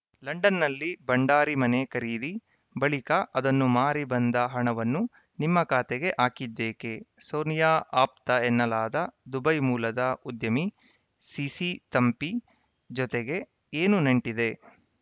ಲಂಡನ್‌ನಲ್ಲಿ ಭಂಡಾರಿ ಮನೆ ಖರೀದಿ ಬಳಿಕ ಅದನ್ನು ಮಾರಿ ಬಂದ ಹಣವನ್ನು ನಿಮ್ಮ ಖಾತೆಗೆ ಹಾಕಿದ್ದೇಕೆ ಸೋನಿಯಾ ಆಪ್ತ ಎನ್ನಲಾದ ದುಬೈ ಮೂಲದ ಉದ್ಯಮಿ ಸಿಸಿ ಥಂಪಿ ಜೊತೆಗೆ ಏನು ನಂಟಿದೆ